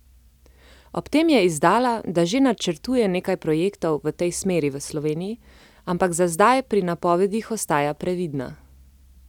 Ob tem je izdala, da že načrtuje nekaj projektov v tej smeri v Sloveniji, ampak za zdaj pri napovedih ostaja previdna.